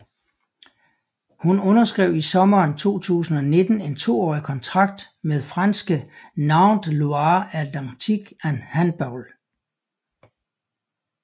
Hun underskrev i sommeren 2019 en toårig kontrakt med franske Nantes Loire Atlantique Handball